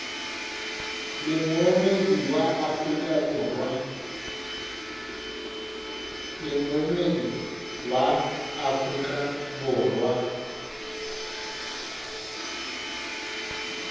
le moemedi wa afrika borwa